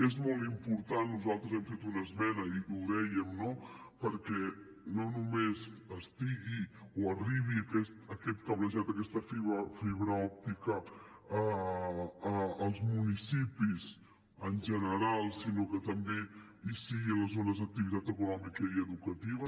és molt important nosaltres hem fet una esmena i ho dèiem no que no només estigui o arribi aquest cablejat aquesta fibra òptica als municipis en general sinó que també hi sigui a les zones d’activitat econòmica i educativa